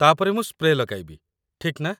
ତା'ପରେ ମୁଁ ସ୍ପ୍ରେ ଲଗାଇବି, ଠିକ୍ ନା?